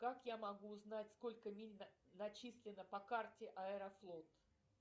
как я могу узнать сколько миль начислено по карте аэрофлот